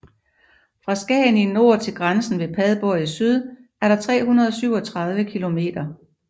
Fra Skagen i nord til grænsen ved Padborg i syd er der 337 kilometer